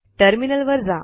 terminal वर जा